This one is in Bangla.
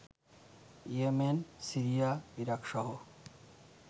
Yemen, Syria, ইরাকসহ